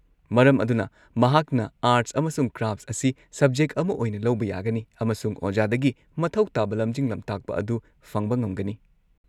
ꯃꯔꯝ ꯑꯗꯨꯅ ꯃꯍꯥꯛꯅ ꯑꯥꯔꯠꯁ ꯑꯃꯁꯨꯡ ꯀ꯭ꯔꯥꯐꯠꯁ ꯑꯁꯤ ꯁꯕꯖꯦꯛ ꯑꯃ ꯑꯣꯏꯅ ꯂꯧꯕ ꯌꯥꯒꯅꯤ ꯑꯃꯁꯨꯡ ꯑꯣꯖꯥꯗꯒꯤ ꯃꯊꯧ ꯇꯥꯕ ꯂꯝꯖꯤꯡ-ꯂꯝꯇꯥꯛꯄ ꯑꯗꯨ ꯐꯪꯕ ꯉꯝꯒꯅꯤ꯫